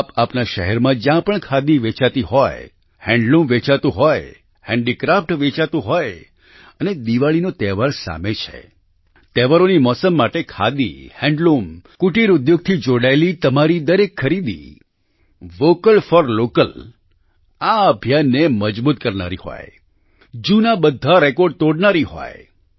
આપ આપના શહેરમાં જ્યાં પણ ખાદી વેચાતી હોય હેન્ડલૂમ વેચાતું હોય હેન્ડીક્રાફ્ટ વેચાતું હોય અને દિવાળીનો તહેવાર સામે છે તહેવારોની મોસમ માટે ખાદી હેન્ડલૂમ કુટિર ઉદ્યોગથી જોડાયેલી તમારી દરેક ખરીદી વોકલ ફોર લોકલ આ અભિયાનને મજબૂત કરનારી હોય જૂના બધા રેકોર્ડ તોડનારી હોય